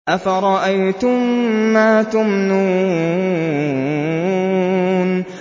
أَفَرَأَيْتُم مَّا تُمْنُونَ